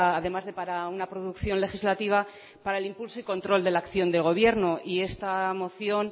además de para una producción legislativa para el impulso y control de la acción de gobierno y esta moción